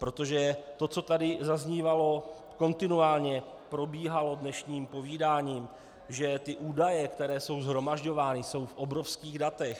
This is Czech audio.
Protože to, co tady zaznívalo, kontinuálně probíhalo dnešním povídáním, že ty údaje, které jsou shromažďovány, jsou v obrovských datech.